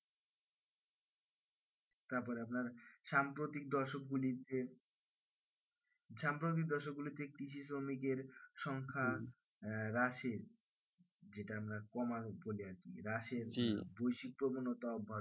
তারপরে আপনার সাম্প্রতিক দর্শক গুলির যে সাম্প্রতিক দর্শক গুলিতে কৃষি শ্রমিকের সংখ্যা রাসের যেটা আমরা কমার বলি আর কি রাসের বৈশিক প্রবণতা